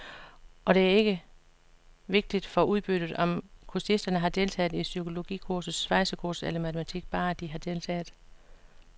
Og det er ikke vigtigt for udbyttet, om kursisterne har deltaget i psykologikursus, svejsekursus eller matematik, bare de har deltaget.